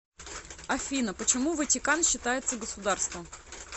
афина почему ватикан считается государством